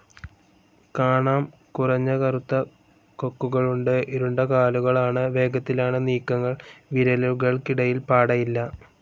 കാണാം കുറഞ്ഞ കറുത്ത കൊക്കുകളുണ്ട്. ഇരുണ്ട കാലുകളാണ്. വേഗത്തിലാണ് നീക്കങ്ങൾ. വിരലുകൾക്കിടയിൽ പാടയില്ല.